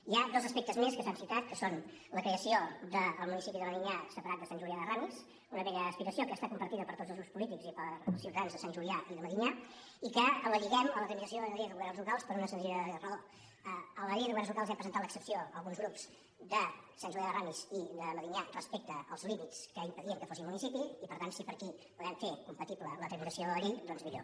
hi ha dos aspectes més que s’han citat que són la creació del municipi de medinyà separat de sant julià de ramis una vella aspiració que està compartida per tots els grups polítics i pels ciutadans de sant julià i de medinyà i que la lliguem a la tramitació de la llei de governs locals per una senzilla raó a la llei de governs locals hi hem presentat l’excepció alguns grups de sant julià de ramis i de medinyà respecte als límits que impedien que fossin municipi i per tant si per aquí podem fer compatible la tramitació de la llei doncs millor